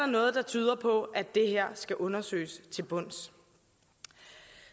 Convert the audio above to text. noget der tyder på at det her skal undersøges til bunds